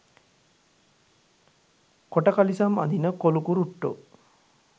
කොට කලිසම් අඳින කොලුකුරුට්ටෝ.